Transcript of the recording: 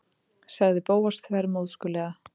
sagði Bóas þvermóðskulega.